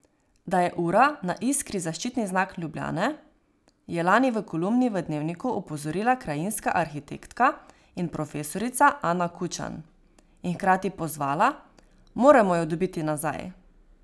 Da je ura na Iskri zaščitni znak Ljubljane, je lani v kolumni v Dnevniku opozorila krajinska arhitektka in profesorica Ana Kučan in hkrati pozvala: "Moramo jo dobiti nazaj!